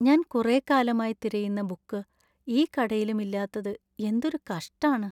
ഞാൻ കുറെക്കാലമായി തിരയുന്ന ബുക്ക് ഈ കടയിലും ഇല്ലാത്തത് എന്തൊരു കഷ്ടാണ്‌.